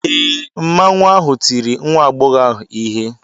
Ee, Mmanwu ahụ tiri nwa agbọghọ ahụ ihe.